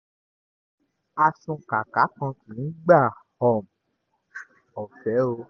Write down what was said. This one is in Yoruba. asunkàáka kan kì í gba um ọ̀fẹ́ o